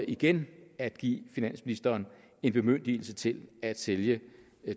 igen at give finansministeren en bemyndigelse til at sælge